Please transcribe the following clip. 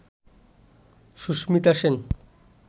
Susmita Sen